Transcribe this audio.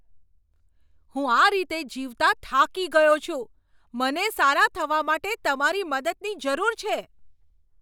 હું આ રીતે જીવતાં થાકી ગયો છું! મને સારા થવા માટે તમારી મદદની જરૂર છે!